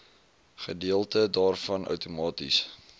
gedeelte daarvan outomaties